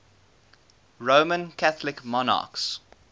roman catholic monarchs